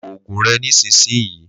Lo òògùn rẹ nísinsìnyí